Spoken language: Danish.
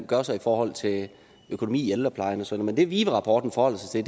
gør sig i forhold til økonomi i ældreplejen og sådan men det vive rapporten forholder sig til